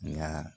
Nka